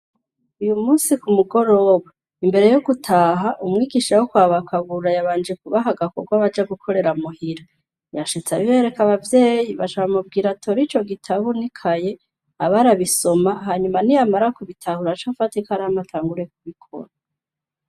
Uyu munsi ku mugoroba, imbere yo gutaha, umwigisha wo kwa ba Kabura yabanje kubaha agakorwa baja gukorera muhira. Yashitse abibereka abavyeyi baca bamubwira atore ico gitabu n'ikaye aba arabisoma, hanyuma niyamara kubitahura, ace afata ikaramu atanguye kubikora.